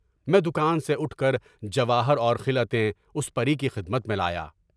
میں دکان سے اٹھ کر جواہر اور خلعتیں اس پری کی خدمت میں لایا۔